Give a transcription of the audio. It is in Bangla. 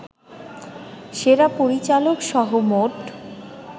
সেরা পরিচালকসহ মোট